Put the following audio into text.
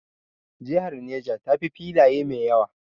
Jihar Neja ta fi filaye mai yawa